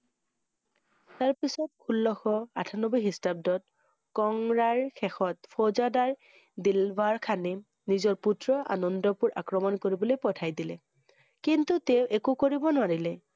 তাৰ পিছত, ষোল্লশ আঠানব্বৈ খ্ৰীষ্টাব্দত কংৰা~ৰ শেষত ফৌজদাৰ দিলৱা~ৰ খানে, নিজৰ পুত্ৰ আনন্দপুৰ আক্ৰমণ কৰিবলৈ পঠিয়াই দিলে কিন্তু তেওঁ একো কৰিব নোৱাৰিলে ।